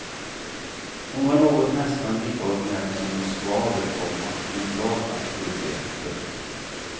Hon var något nästan lika originellt som en skvader, komma en glad auktoritet. punkt